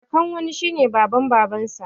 Kakan wani shine baban babansa